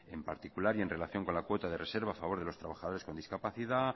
en particular y en relación con la cuota de reserva a favor de los trabajadores con discapacidad